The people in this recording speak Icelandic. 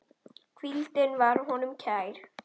Hvíldin var honum kær.